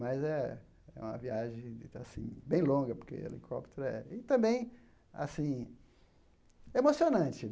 Mas é é uma viagem muito assim bem longa, porque helicóptero é... E também assim emocionante.